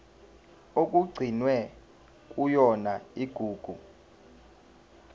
okugcinwe kuyona igugu